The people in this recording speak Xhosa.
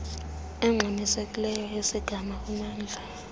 engxamisekileyo yesigama kumamndla